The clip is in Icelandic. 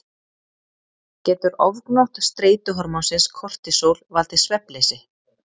Getur ofgnótt streituhormónsins kortisól valdið svefnleysi?